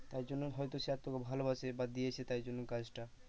তারজন্য হয়তো স্যার তোকে ভালোবাসে বা দিয়েছে তাই জন্য কাজটা।